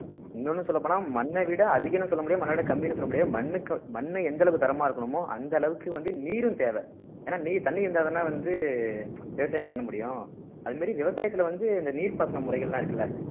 இன்னொன்னு சொல்லப் போனா மண்ணை விட அதிகம்ன்னு சொல்ல முடியாது மண்ணை விட கம்மின்னு சொல்ல முடியாது மண்ணுக்கு மண்ணு எந்த அளவு தரமா இருக்கணுமோ அந்த அளவுக்கு வந்து நீரும் தேவை ஏன்னா நீ தண்ணி இருந்தாதானே வந்து விவசாயம் பண்ண முடியும் அது மாதிரி விவசாயத்திலே வந்து இந்த நீர்ப்பாசன முறைகள் எல்லாம் இருக்குல்ல